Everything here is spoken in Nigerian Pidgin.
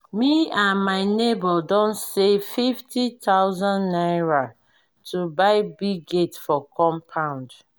me and my nebor don save fifty thousand naira to buy big gate for compound